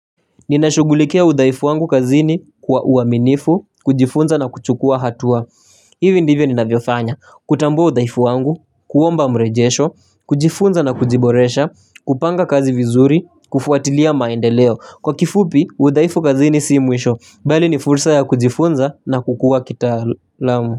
Ninashugulikea udaifu wangu kazini kwa uaminifu, kujifunza na kuchukua hatua hivi ndivyo ninavyofanya, kutambua udaifu wangu, kuomba mrejesho, kujifunza na kujiboresha, kupanga kazi vizuri, kufuatilia maendeleo Kwa kifupi, udaifu kazini sii mwisho, bali ni fursa ya kujifunza na kukua kitalamu.